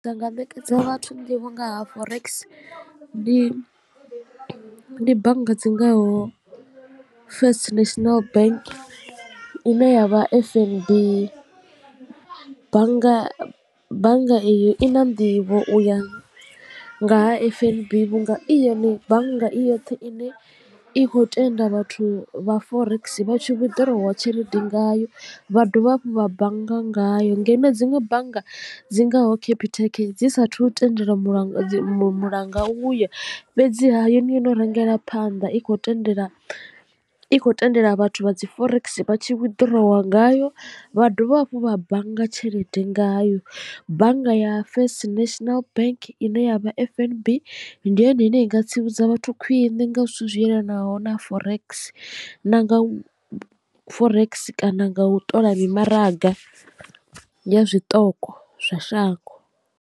Ndi nga ṋekedza vhathu nḓivho nga ha forex ndi bannga dzingaho first national bank ine yavha F_N_B bannga bannga iyo i na nḓivho u ya nga ha F_N_B vhunga i yone bannga i yoṱhe i ne i khou tenda vhathu vha forex vha tshi withdrawer tshelede ngayo vha dovha hafhu vha bannga ngayo. Ngeno dziṅwe bannga dzi ngaho capitec dzi saathu tendeliwa mulanga mulanga u yo fhedziha yo ne yo no rengela phanḓa i khou tendela i khou tendela vhathu vha dzi forex vha tshi withdrawer ngayo vha dovha hafhu vha bannga tshelede ngayo bannga ya first national bank ine ya vha F_N_B ndi yone ine i nga tsivhudza vhathu khwiṋe nga zwithu zwi yelanaho na forex na nga forex kana nga u ṱola mi maraga ya zwiṱoko zwa shango.